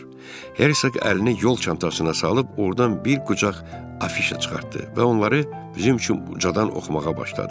Hersoq əlini yol çantasına salıb ordan bir qucaq afişa çıxartdı və onları bizim üçün ucadan oxumağa başladı.